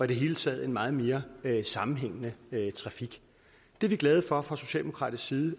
det hele taget en meget mere sammenhængende trafik det er vi glade for fra socialdemokratisk side